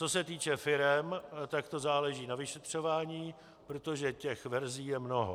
Co se týče firem, tak to záleží na vyšetřování, protože těch verzí je mnoho.